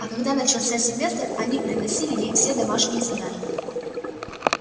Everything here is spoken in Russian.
а когда начался семестр они приносили ей все домашние задания